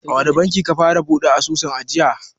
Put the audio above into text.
A wani banki ka fara buɗe asusun ajiya?